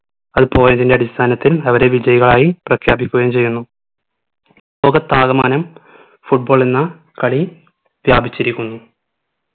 അത് പോയതിന്റെ അടിസ്ഥാനത്തിൽ അവരെ വിജയികളായി പ്രഖ്യാപിക്കുകയും ചെയ്യുന്നു ലോകത്താകമാനം football എന്ന കളി വ്യാപിച്ചിരിക്കുന്നു